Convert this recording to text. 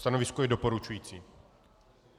Stanovisko je doporučující.